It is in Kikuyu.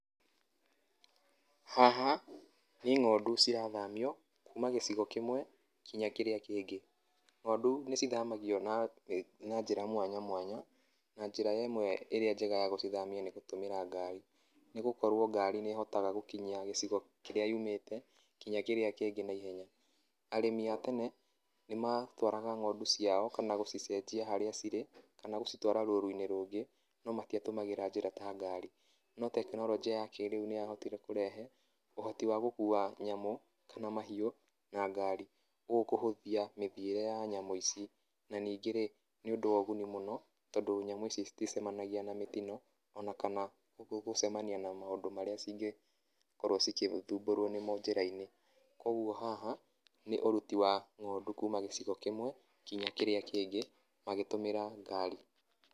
Haha nĩ ng'ondu cirathamio kuma gĩcigo kĩmwe nginya kĩrĩa kĩngĩ, ng'ondu nĩ cithamagio na njĩra mwanya mwanya, na njĩra ĩmwe ĩrĩa ya gũcithamia nĩ gũtũmĩra ngari, nĩ gũkorwo ngari nĩ hotaga gũkinyia gĩcigo kĩrĩa yumĩte nginya kĩrĩa kĩngĩ na ihenya, arĩmi a tene nĩ matwaraga ng'ondu ciao kana gũcicenjia harĩ cirĩ, kana gũcitwara rũruinĩ rũngĩ no matiatũmagĩra njĩra ta ngari, no tekinoronjĩ ya kĩrĩu nĩ ya hotire kũrehe ũhoti wa gũkua nyamũ kana mahiũ na ngari nĩguo kũhũthia mĩthiĩre ya nyamũ ici, na ningĩ rĩ nĩ ũndũ wa ũguni mũno, nĩ ũndũ nyamũ ici iticemanagia na mĩtino ona kana gũcemania na maũndũ marĩa cingekorwo cigĩthumburwo nĩmo njĩrainĩ kwoguo haha nĩ ũruti wa ng'ondu kuma gĩcigo kĩmwe nginya kĩrĩa kĩngĩ magĩtũmĩra ngari.